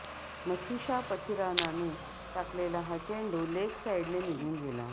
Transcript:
मथीशा पथिरानाने टाकलेला हा चेंडू लेग साइडने निघून गेला